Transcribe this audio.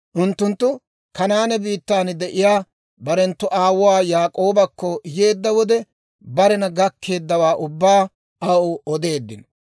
Unttunttu Kanaane biittan de'iyaa barenttu aawuwaa Yaak'oobakko yeedda wode, barena gakkeeddawaa ubbaa aw odeeddino.